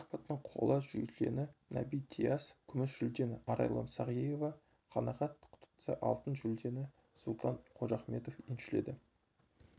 шахматтан қола жүлдені наби диас күміс жүлдені арайлым сағиева қанағат тұтса алтын жүлдені сұлтан қожахметов еншіледі